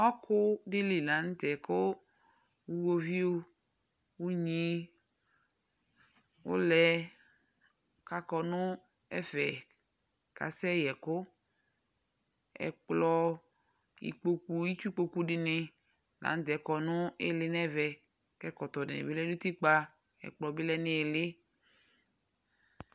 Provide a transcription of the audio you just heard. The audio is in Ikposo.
Ɔkʋ dɩ li la nʋ tɛ kʋ uɣoviu, unyi, ʋlɛ kʋ akɔ nʋ ɛfɛ kasɛyɛkʋ Ɛkplɔ, ikpoku, itsukpoku dɩnɩ la nʋ tɛ kɔ nʋ ɩɩlɩ nʋ ɛvɛ kʋ ɛkɔtɔ dɩnɩ bɩ lɛ nʋ utikpa kʋ ɛkplɔ bɩ lɛ nʋ ɩɩlɩ